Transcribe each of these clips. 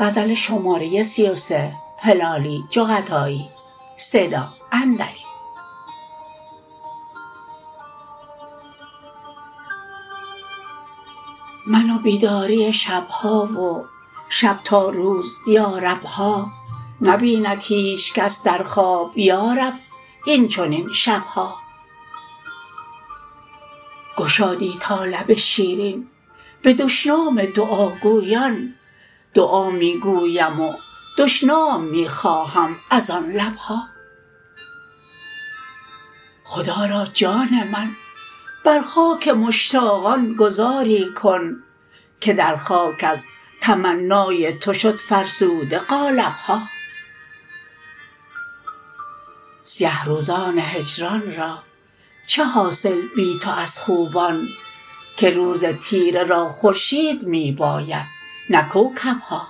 من و بیداری شب ها و شب تا روز یارب ها نبیند هیچ کس در خواب یارب اینچنین شب ها گشادی تا لب شیرین به دشنام دعاگویان دعا می گویم و دشنام می خواهم از آن لب ها خدا را جان من بر خاک مشتاقان گذاری کن که در خاک از تمنای تو شد فرسوده قالب ها سیه روزان هجران را چه حاصل بی تو از خوبان که روز تیره را خورشید می باید نه کوکب ها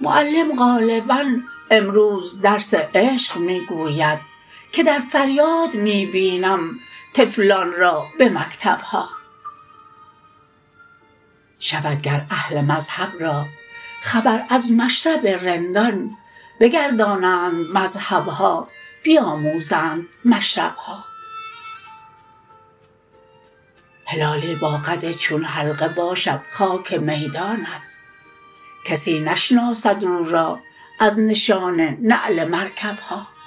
معلم غالبا امروز درس عشق می گوید که در فریاد می بینیم طفلان را به مکتب ها شود گر اهل مذهب را خبر از مشرب رندان بگردانند مذهب ها بیاموزند مشرب ها هلالی با قد چون حلقه باشد خاک میدانت کسی نشناسد او را از نشان نعل مرکب ها